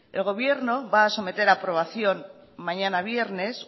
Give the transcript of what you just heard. el gobierno va a someter a aprobación mañana viernes